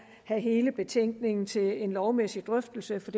have hele betænkningen til en lovmæssig drøftelse for